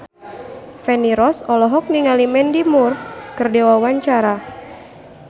Feni Rose olohok ningali Mandy Moore keur diwawancara